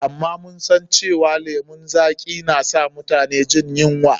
Amma mun san cewa lemun zaƙi na san mutum jin yunwa.